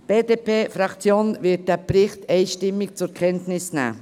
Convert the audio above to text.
Die BDP-Fraktion wird diesen Bericht einstimmig zur Kenntnis nehmen.